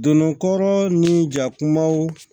Donna kɔrɔ ni jakumaw